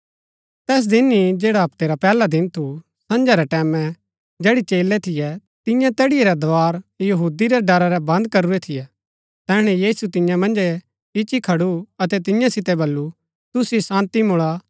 तैस दिन ही जैडा हप्तै रा पैहला दिन थू सझां रै टैमैं जैड़ी चेलै थियै तियें तैड़ीआ रै दार यहूदी रै डरा रै बन्द करूरै थियै तैहणै यीशु तियां मन्‍झै इच्ची खडू अतै तियां सितै बल्लू तुसिओ शान्ती मुळा